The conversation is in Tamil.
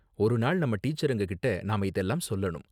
ஒரு நாள் நம்ம டீச்சருங்க கிட்ட நாம இதெல்லாம் சொல்லணும்.